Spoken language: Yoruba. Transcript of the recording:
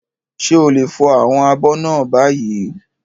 Ṣé o lè fọ àwọn abọ́ náà báyìí?